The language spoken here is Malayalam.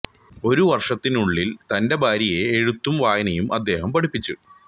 ഒരു വർഷത്തിനുള്ളിൽ തന്റെ ഭാര്യയെ എഴുത്തും വായനയും അദ്ദേഹം പഠിപിച്ചു